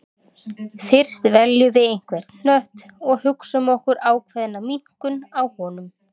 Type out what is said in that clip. Fyrst veljum við einhvern hnött og hugsum okkur ákveðna minnkun á honum.